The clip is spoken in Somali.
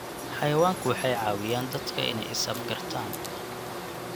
Xayawaanku waxay caawiyaan dadka inay is-afgartaan.